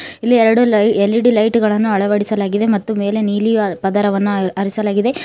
ಎರಡು L _E _D ಲೈಟ ಳನ್ನು ಅಳವಡಿಸಲಾಗಿದೆ ಮತ್ತು ಮೇಲೆ ನೀಲಿ ಪದರವನ್ನು ಅರಿಸಲಾಗಿದೆ.